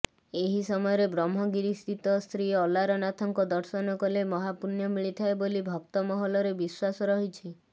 ଏହି ସମୟରେ ବ୍ରହ୍ମଗିରିସ୍ଥିତ ଶ୍ରୀଅଲାରାନଥଙ୍କ ଦର୍ଶନ କଲେ ମହାପୂଣ୍ୟ ମିଳିଥାଏ ବୋଲି ଭକ୍ତ ମହଲରେ ବିଶ୍ୱାସ ରହିଛି